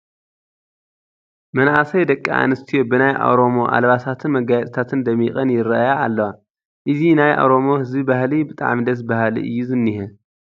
መናእሰይ ደቂ ኣንስትዮ ብናይ ኦሮሞ ኣልባሳትን መጋየፅታትን ደሚቐን ይርአያ ኣለዋ፡፡ እዚ ናይ ኦሮሞ ህዝቢ ባህሊ ብጣዕሚ ደስ በሃሊ እዩ ዝኒሀ፡፡